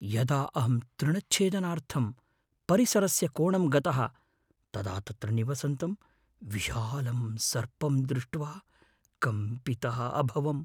यदा अहं तृणच्छेदनार्थं परिसरस्य कोणं गतः तदा तत्र निवसन्तं विशालं सर्पं दृष्ट्वा कम्पितः अभवम् ।